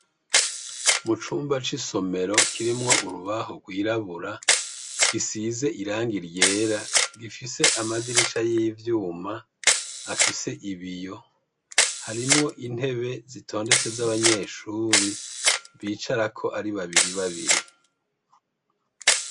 Mucumba c'isomero kirimwo urubaho gwirabura gisize irangi ryera gifise amadirisha y'ivyuma afise ibiyo harimwo intebe zitondetse zabanyeshuri bicarako ari babiri babiri.